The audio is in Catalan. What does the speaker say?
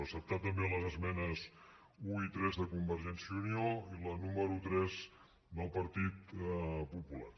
acceptar també les esmenes un i tres de convergència i unió i la número tres del partit popular